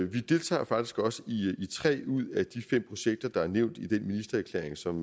vi deltager faktisk også i tre ud af de fem projekter der er nævnt i den ministererklæring som